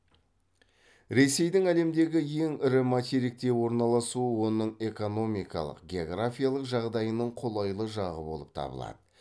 ресейдің әлемдегі ең ірі материкте орналасуы оның экономикалық географиялық жағдайының қолайлы жағы болып табылады